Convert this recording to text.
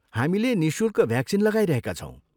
हामीले निःशुल्क भ्याक्सिन लगाइरहेका छौँ।